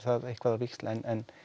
eitthvað á víxl en